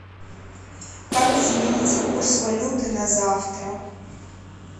как изменится курс валюты на завтра